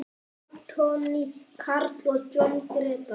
Anthony Karl og Jón Gretar.